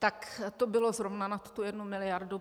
Tak to bylo zrovna nad tu jednu miliardu.